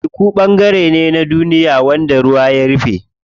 Teku ɓangare ne na duniya wanda ruwa ya rufe.